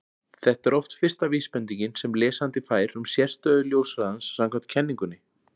þetta er oft fyrsta vísbendingin sem lesandi fær um sérstöðu ljóshraðans samkvæmt kenningunni